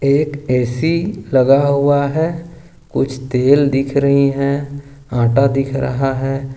एक ऐ_सी लगा हुआ है कुछ तेल दिख रही है आटा दिख रहा है।